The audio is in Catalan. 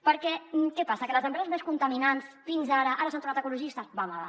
perquè què passa que les empreses més contaminants fins ara ara s’han tornat ecologistes va home va